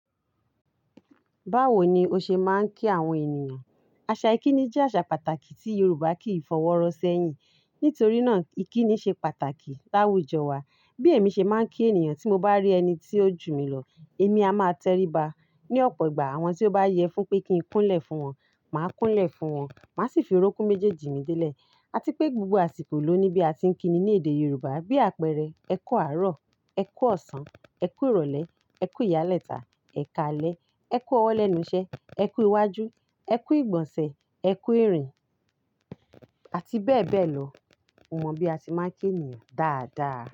Báwo ni o ṣe máa ń kí àwọn ènìyàn? Àṣà ìkíni jẹ́ àṣà pàtàkì tí Yoruba kì í fọwọ́ rọ sẹ́yìn. Nítorí náà, ìkíni ṣe pàtàkì láwùjọ wa. Bí èmi ṣe máa ń kí ènìyàn tí mo bá rí ẹni tí ó jù mí lọ, èmi a máa tẹríba. Ni ọ̀pọ̀ ìgbà àwọn tí ó bá yẹ fún pé kí n kúnlẹ̀ fún wọn, màá kúnlẹ̀ fún wọn, màá sì fi orókún méjèèjì mi délẹ̀. A ti pé gbogbo àsìkò ló ní bí a ti ń kíni ní èdè Yorùbá. Bí àpẹẹrẹ, "ẹ kú àárọ̀", "ẹ kú ọ̀sán", "ẹ kú ìrọ̀lẹ́", "ẹ kú ìyálẹ́ta", "ẹ káalẹ́", "ẹ kú ọwọ́ lẹ́nu iṣẹ́", "ẹ kú iwájú", "ẹ kú ìgbọ̀nsẹ̀", "ẹ kú ìrìn" àti bẹ́ẹ̀ bẹ́ẹ̀ lọ. Mo mọ bí a ti máa ń kí ènìyàn dáadáa.